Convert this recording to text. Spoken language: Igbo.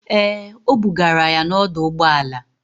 Ee, o bugara ya n'ọdọụgbọala.